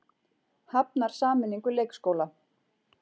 Hafnar sameiningu leikskóla